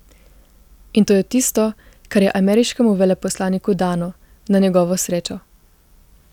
In to je tisto, kar je ameriškemu veleposlaniku dano, na njegovo srečo.